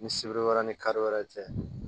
Ni sibiri wɛrɛ ni kari wɛrɛ tɛ